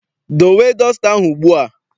Dowe dọsta ahụ ugbu a!